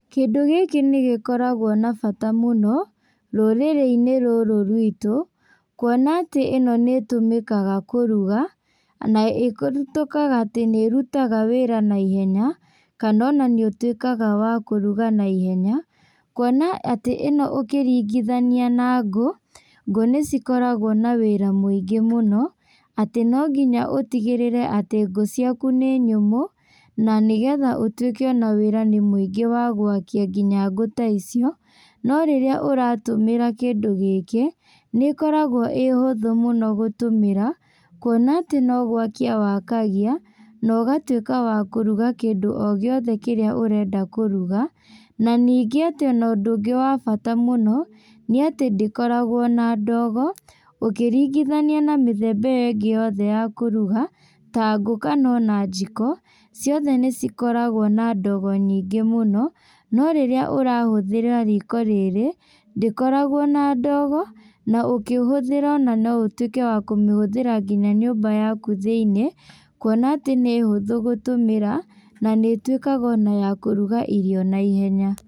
Kĩndũ gĩkĩ nĩgĩkoragwo na bata mũno, rũrĩrĩinĩ rũrũ rwitũ, kuona atĩ ĩno nĩtũmĩkaga kũruga, na ĩtuĩkaga atĩ nĩrutaga wĩra na ihenya, kana ona nĩũtuĩkaga wa kũruga na ihenya, kuona atĩ ĩno ũkĩringithania na ngũ, ngũ nĩcikoragwo na wĩra mũingĩ mũno, atĩ no nginya ũtigĩrĩre atĩ ngũ ciaku nĩ nyũmũ, na nĩgetha ũtuĩke ona wĩra nĩ mũingĩ wa gwakia nginya ngũ ta icio, no rĩrĩa ũratũmĩra kĩndũ gĩkĩ, nĩkoragwo ĩ ũhũthũ mũno gũtũmĩra, kuona atĩ no gwakia wakagia, na ũgatuĩka wa kũruga kĩndũ o gĩothe kĩrĩa ũrenda kũruga, na ningĩ atĩ ona ũndũ ũngĩ wa bata mũno, nĩatĩ ndĩkoragwo na ndogo, ũkĩringithania na mĩthemba ĩyo ingĩ ya kũruga, ta ngũ kana ona njiko, ciothe nĩcikoragwo na ndogo nyingĩ mũno, no rĩrĩa ũrahũthĩra riko rĩrĩ, ndĩkoragwo na ndogo, na ũkĩhũthĩra ona no ũtuĩke wa kũmĩhũthĩra nginya nyũmba yaku thĩinĩ, kuona atĩ nĩ hũthũ gũtũmĩra, na nĩtuĩkaga ona ya kũruga irio na ihenya.